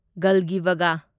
ꯒꯜꯒꯤꯕꯒ